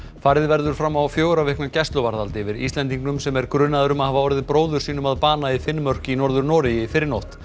farið verður fram á fjögurra vikna gæsluvarðhald yfir Íslendingnum sem er grunaður um að hafa orðið bróður sínum að bana í Finnmörk í Norður Noregi í fyrrinótt